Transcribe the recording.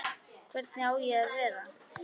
Hvernig á ég að vera?